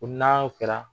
Ko n'a y'o kɛra